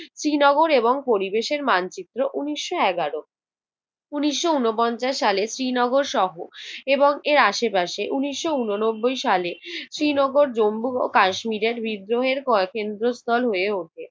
শ্রীনগর এবং পরিবেশের মানচিত্র উনিশশো এগারো। উনিশ উনপঞ্চাশ সালে শ্রীনগর শহর এবং এর আশে পাশে উনিশ উননব্বই সাল শ্রীনগর জম্মু ও কাশ্মীরের বিদ্রোহের পয় কেন্দ্রস্থল হয়ে উঠে।